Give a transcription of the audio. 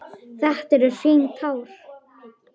Þetta eru hrein tár.